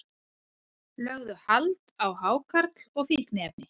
Lögðu hald á hákarl og fíkniefni